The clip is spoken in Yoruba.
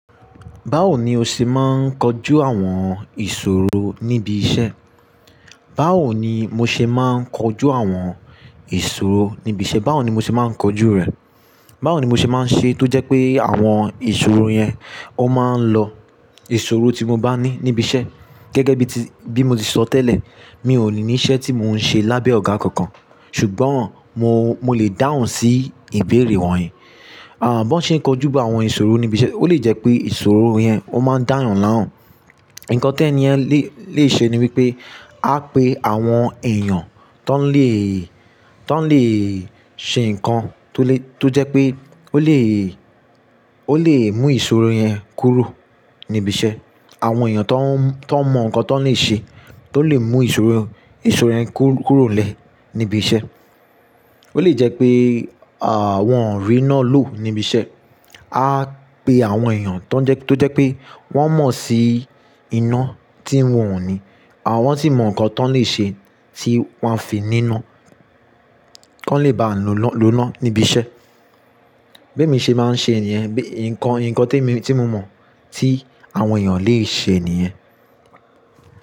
Báwo ni o ṣe máa ń kojú àwọn ìṣòro níbi iṣẹ́? Báwo ni mo ṣe máa ń kojú àwọn ìṣòro níbi iṣẹ́? Báwo ni mo ṣe máa ń kojú rẹ̀? Báwo ni mo ṣe máa ń ṣe tó jẹ́ pé àwọn ìṣòro yẹn ó máa ń lọ ìṣòro tí mo bá ní níbi iṣẹ́. Gẹ́gẹ́ bí ti, bí mo ti sọ tẹ́lẹ̀, mi ò ní iṣẹ́ tí mò ń ṣe lábẹ́ ọ̀gá kankan. Ṣùgbọ́n mo, mo lè dáhùn sí ìbéèrè wọ̀nyí. Àń, bó ṣe ń kojú àwọn ìṣòro níbi iṣẹ́, ó lè jẹ́ pé ìṣòro yẹn ó máa ń dáhùn lánàá. Ǹkan tí ẹni yẹn le, le ṣe ni wípé á pe àwọn èèyàn tó ń le, tó ń le ṣe nǹkan tó le, tó jẹ́ pé ó le, ó le mú ìṣòro yẹn kúrò níbi iṣẹ́. Àwọn èèyàn tó ń mọ ǹkan tó lè ṣe, tó lè mú ìṣòro, ìṣòro yẹn kúrò lẹ́ níbi iṣẹ́. Ó lè jẹ́ pé, wọn ri ínà ló níbi iṣẹ́. A pe àwọn èèyàn tó ń jẹ́, tó jẹ́ pé wọ́n mọ̀ sí iná tí ń wọ̀n ní. Àwọn sí mọ ǹkan tón lè ṣe tí wọ́n fi nína, kí wọ́n lè bá lọ́nà níbi iṣẹ́. Béè mi ṣe máa ń ṣe èèyàn, nǹkan, nǹkan tí mi, tí mo mọ̀ tí àwọn èèyàn lè ṣe nìyẹn.